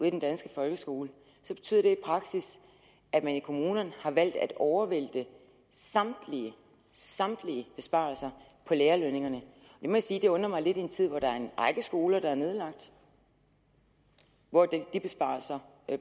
i den danske folkeskole betyder det i praksis at man i kommunerne har valgt at overvælte samtlige samtlige besparelser på lærerlønningerne det må jeg sige undrer mig lidt i en tid hvor der er en række skoler der er nedlagt hvor er de besparelser